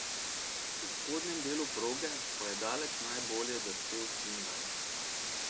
V spodnjem delu proge pa je daleč najbolje drsel Svindal.